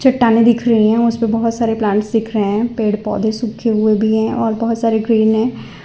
चट्टाने दिख रही हैं उस पे बहुत सारे प्लांट्स दिख रहे हैं पेड़ पौधे सूखे हुए भी हैं और बहुत सारे ग्रीन हैं।